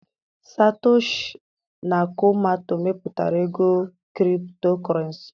Satoshi nakomato mepụtara ego Kriptokurenci.